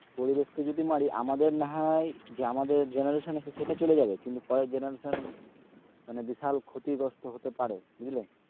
পরিবেশ কে যদি মারি আমাদের না হয় যে আমাদের যে generation সেটা চলে যাবে কিন্তু পরের generation মানে বিশাল ক্ষতি গ্রস্ত হতে পারে বুঝলে,